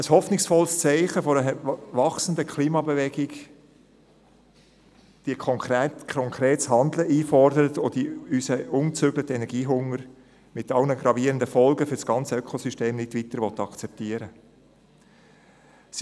Ein hoffnungsvolles Zeichen einer wachsenden Klimabewegung, die konkretes Handeln einfordert und die unseren ungezügelten Energiehunger – mit allen gravierenden Folgen für das gesamte Ökosystem – nicht weiter akzeptieren will.